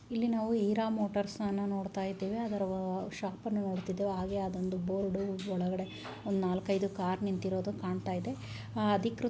ಇಲ್ಲಿ ನಾವು ಈರಾ ಮೋಟರ್ಸ ನ ನೋಡ್ತಾ ಇದ್ದೀವಿ ಅದರ ಶಾಪ್ ನಡೆದಿದ್ದು ಹಾಗೆ ಅದೊಂದು ಬೋರ್ಡ್ ಒಳಗಡೆ ಒಂದು ನಾಲ್ಕೈದು ಕಾರ್ ನಿಂತಿರೋದು ಕಾಣ್ತಾ ಇದೆ ಅದಿಕ್ಕೇ--